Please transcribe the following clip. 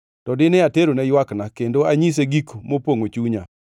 to dine aterone ywakna, kendo anyise gik mopongʼo chunya,